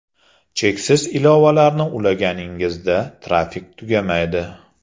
Cheksiz ilovalarni ulaganingizda, trafik tugamaydi.